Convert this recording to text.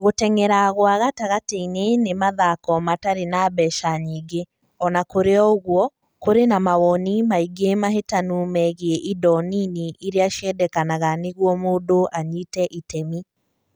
Gũteng'era gwa gatagatĩ-inĩ nĩ mathako matarĩ ma mbeca nyingĩ; o na kũrĩ ũguo, kũrĩ na mawoni maingĩ mahĩtanu megiĩ indo nini iria ciendekanaga nĩguo mũndũ anyite itemi.